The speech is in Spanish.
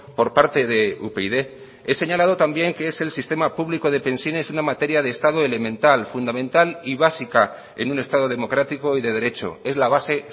por parte de upyd he señalado también que es el sistema público de pensiones una materia de estado elemental fundamental y básica en un estado democrático y de derecho es la base